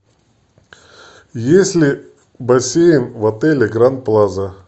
есть ли бассейн в отеле гранд плаза